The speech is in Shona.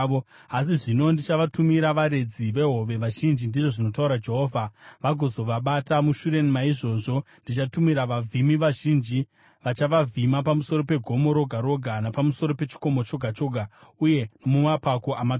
“Asi zvino ndichavatumira varedzi vehove vazhinji,” ndizvo zvinotaura Jehovha, “vagozovabata. Mushure maizvozvo ndichatumira vavhimi vazhinji, vachavavhima pamusoro pegomo roga roga napamusoro pechikomo choga choga uye nomumapako amatombo.